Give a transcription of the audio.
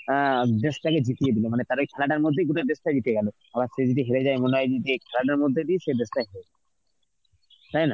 অ্যাঁ দেশটাকে জিতিয়ে দিল মানে তারাই খেলাটার মধ্যেই কিন্তু দেশটা জিতে গেল. আবার সেদিনকে হেরে যায় মনে হয় যে খেলাটার মধ্যে দিয়ে সেই দেশটা হেরে গেল. তাই না?